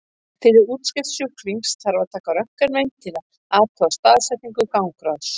Fyrir útskrift sjúklings þarf að taka röntgenmynd til að athuga staðsetningu gangráðsins.